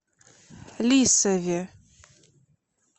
лисове